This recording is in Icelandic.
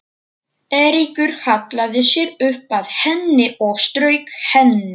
Eiríkur hallaði sér upp að henni og strauk henni.